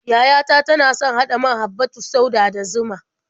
Yaya ta tana son haɗa man habbatus sauda da zuma.